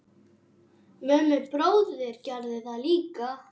Mummi bróðir gerði það líka.